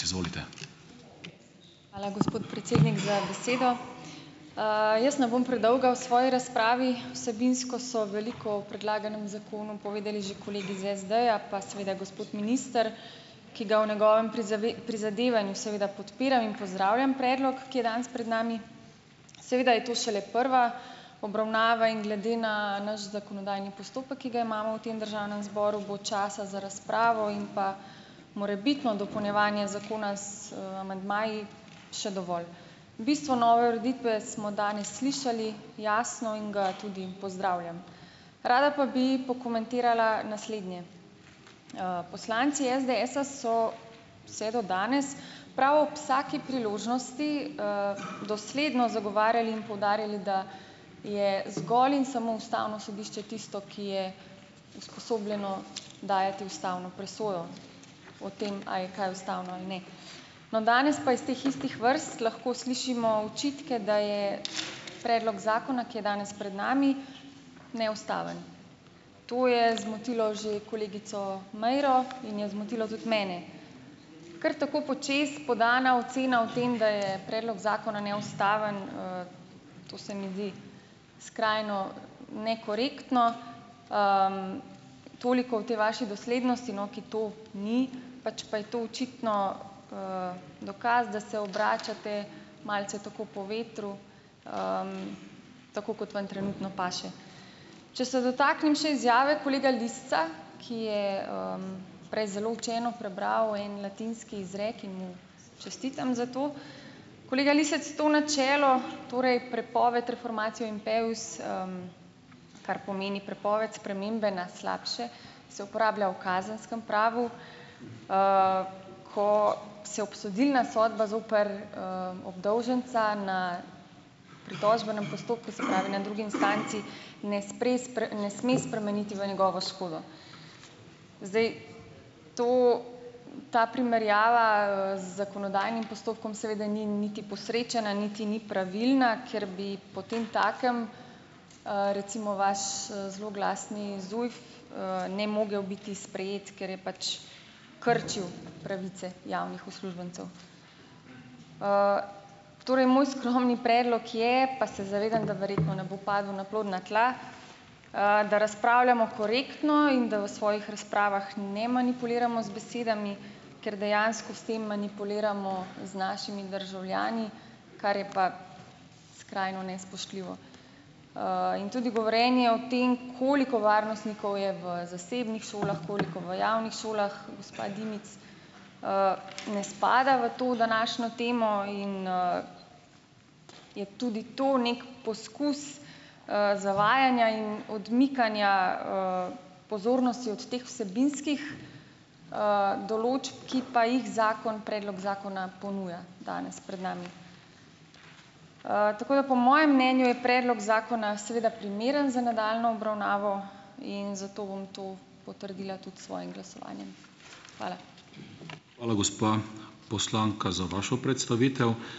Hvala, gospod predsednik, za besedo. Jaz ne bom predolga v svoji razpravi. Vsebinsko so veliko o predlaganem zakonu povedali že kolegi iz SD-ja, pa seveda gospod minister, ki ga v njegovem prizadevanju seveda podpiram in pozdravljam predlog, ki je danes pred nami. Seveda je to šele prva obravnava in glede ne naš zakonodajni postopek, ki ga imamo v tem državnem zboru, bo časa za razpravo in pa morebitno dopolnjevanje zakona z, amandmaji še dovolj. Bistvo nove ureditve smo danes slišali jasno in ga tudi pozdravljam. Rada pa bi pokomentirala naslednje. Poslanci SDS-a so vse do danes prav ob vsaki priložnosti, dosledno zagovarjali in poudarjali, da je zgolj in samo ustavno sodišče tisto, ki je usposobljeno dajati ustavno presojo o tem, a je kaj ustavno ali ne. No, danes pa iz teh istih vrst lahko slišimo očitke, da je predlog zakona, ki je danes pred nami, neustaven. To je zmotilo že kolegico Meiro in je zmotilo tudi mene. Kar tako počez podana ocena o tem, da je predlog zakona neustaven, to se mi zdi skrajno nekorektno. Toliko o tej vaši doslednosti, no, ki to ni, pač pa je to očitno, dokaz, da se obračate malce tako po vetru, tako kot vam trenutno paše. Če se dotaknem še izjave kolega Lisca, ki je, prej zelo učeno prebral en latinski izrek in mu čestitam za to. Kolega Lisec, to načelo, torej prepoved reformacije, impevs, kar pomeni prepoved spremembe na slabše, se uporablja v kazenskem pravu, ko se obsodilna sodba zoper, obdolženca na pritožbenem postopku, se pravi, na drugi instanci ne ne sme spremeniti v njegovo škodo. Zdaj to, ta primerjava, z zakonodajnim postopkom seveda ni niti posrečena, niti ni pravilna, ker bi potem takem, recimo vaš, zloglasni ZUJF, ne mogel biti sprejet, ker je pač krčil pravice javnih uslužbencev. Torej moj skromni predlog je, pa se zavedam, da verjetno ne bo padel na plodna tla, da razpravljamo korektno in da v svojih razpravah ne manipuliramo z besedami, ker dejansko s tem manipuliramo z našimi državljani, kar je pa skrajno nespoštljivo. In tudi govorjenje o tem, koliko varnostnikov je v zasebnih šolah, koliko v javnih šolah, gospa Dimic, ne spada v to današnjo temo in, je tudi to neki poskus, zavajanja in odmikanja, pozornosti od teh vsebinskih, določb, ki pa jih zakon predlog zakona ponuja danes pred nami. Tako da po mojem mnenju je predlog zakona seveda primeren za nadaljnjo obravnavo in zato bom to potrdila tudi s svojim glasovanjem. Hvala.